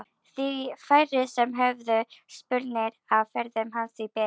Því færri sem höfðu spurnir af ferðum hans því betra.